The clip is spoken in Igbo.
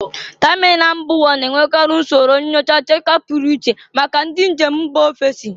Tamịnal mba ụwa na-enwekarị usoro nyocha nchekwa pụrụ iche maka ndị njem mba ofesi